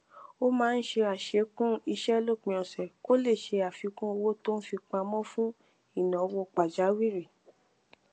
ó máa ń ṣe àṣekún iṣé lópin òsè kó lè ṣe àfikún owó tó ń fi pamọ fún ìnáwó pàjáwìrì